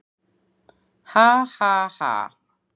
"""Ha, ha, ha!"""